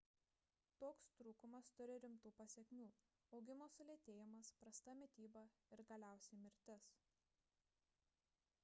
toks trūkumas turi rimtų pasekmių augimo sulėtėjimas prasta mityba ir galiausiai mirtis